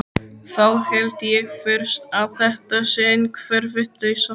Þá held ég fyrst að þetta sé einhver vitleysa.